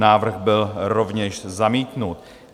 Návrh byl rovněž zamítnut.